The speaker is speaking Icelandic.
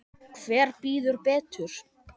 Hver bíður betur?